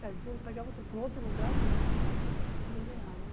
Cai de novo, pegava outro em outro lugar, pegava e pá, pá, pá, desenhava, né?